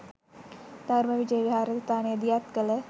ධර්ම විජය විහාරස්ථානය දියත් කළ